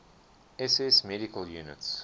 ss medical units